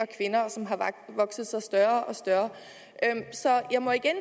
kvinder og som har vokset sig større og større så jeg må igen